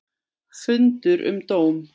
Fundur um dóm